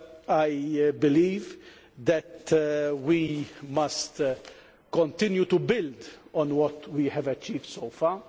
I believe that we must continue to build on what we have achieved so far.